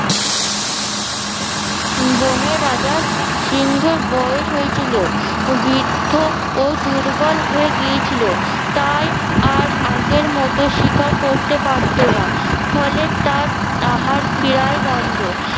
বনে রাজা সিংহে বয়স হয়েছিল। বৃদ্ধ ও দুর্বল হয়ে গিয়েছিলো তাই আর আগের মতো শিকার করতে পারতো না ফলে তার আহার প্রায় বন্ধ